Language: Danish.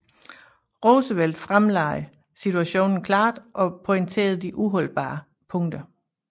Roosevelt fremlagde situationen klart og pointerede de uholdbare punkter